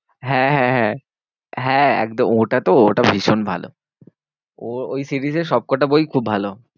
হ্যাঁ হ্যাঁ হ্যাঁ, হ্যাঁ একদম ওটাতো ওটা ভীষণ ভালো। ওই ওই series এ সবকটা বই খুব ভালো।